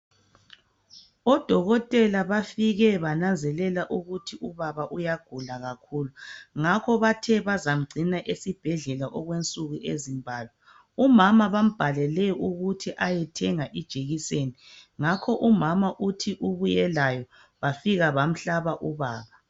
Odokotela bafike bananzelela ukuthi ubaba uyagula kakhulu ngakho bathe bazamgcina esibhedlela okwensuku ezimbalwa .Umama bambhalele ukuthi ayethenga ijekiseni ngakho umama uthi ubuye layo bafika bamhlaba